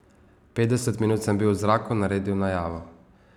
Petdeset minut sem bil v zraku, naredil najavo.